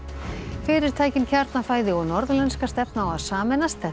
fyrirtækin Kjarnafæði og Norðlenska stefna á að sameinast þetta er